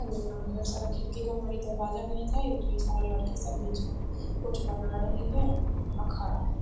ढेर सारा खिड़की केवारी दरवाजा मिलत हेय ढेर सारा लड़की सब भी जो है कुछ बना रही हैं अ खड़ा है।